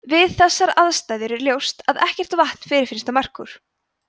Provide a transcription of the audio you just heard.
við þessar aðstæður er ljóst að ekkert vatn fyrirfinnst á merkúr